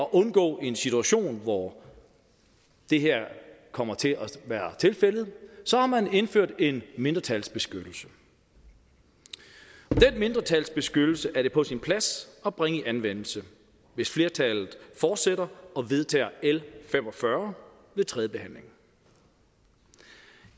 at undgå en situation hvor det her kommer til at være tilfældet så har man indført en mindretalsbeskyttelse den mindretalsbeskyttelse er det på sin plads at bringe i anvendelse hvis flertallet fortsætter og vedtager l fem og fyrre ved tredjebehandlingen